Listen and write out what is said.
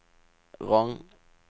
Rong